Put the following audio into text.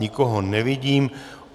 Nikoho nevidím.